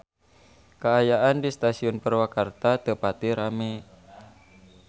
Kaayaan di Stasiun Purwakarta teu pati rame